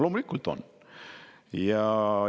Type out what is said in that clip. Loomulikult on!